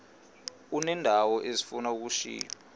uneendawo ezifuna ukushiywa